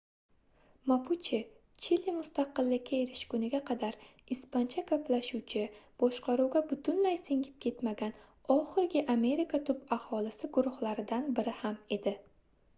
mapuche chili mustaqillikka erishguniga qadar ispancha gaplashuvchi boshqaruvga butunlay singib ketmagan oxirgi amerika tub aholisi guruhlaridan biri ham edi